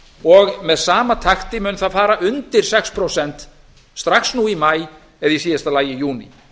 og með sama takti á það fara undir sex prósent strax nú í maí eða í síðasta lagi í júní